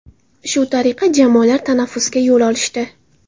Shu tariqa jamoalar tanaffusga yo‘l olishdi.